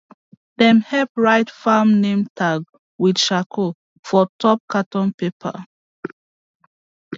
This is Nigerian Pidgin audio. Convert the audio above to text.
dem help write farm name tag with charcoal for top carton paper